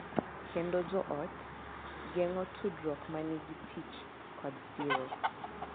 Kendo joot, geng’o tudruok ma nigi tich kod siro.